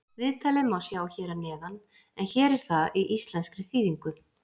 Viðtalið má sjá hér að neðan en hér er það í íslenskri þýðingu.